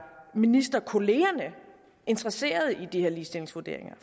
ministerkollegerne interesseret i de her ligestillingsvurderinger